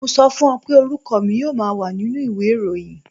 Mo sọ fún ọ pé orúkọ mi yóò wà nínú ìwé ìròyìn.